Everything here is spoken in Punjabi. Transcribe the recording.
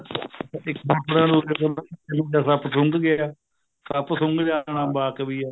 ਇੱਕ ਆ ਜਿਵੇਂ ਸੱਪ ਸੁੰਗ ਗਿਆ ਸੱਪ ਸੁੰਗ ਜਾਣਾ ਵਾਕ ਵੀ ਏ